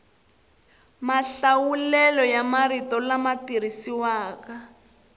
mahlawulelo ya marito lama tirhisiwaka